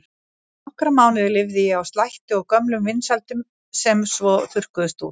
Í nokkra mánuði lifði ég á slætti og gömlum vinsældum sem svo þurrkuðust út.